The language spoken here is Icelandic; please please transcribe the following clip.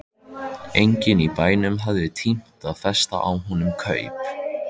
Enginn í bænum hafði tímt að festa á honum kaup.